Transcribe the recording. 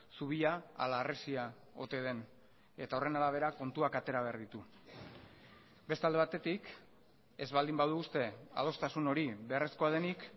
zubia ala harresia ote den eta horren arabera kontuak atera behar ditu beste alde batetik ez baldin badu uste adostasun hori beharrezkoa denik